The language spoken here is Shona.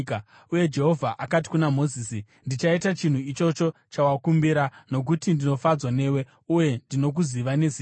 Uye Jehovha akati kuna Mozisi, “Ndichaita chinhu ichocho chawakumbira, nokuti ndinofadzwa newe uye ndinokuziva nezita.”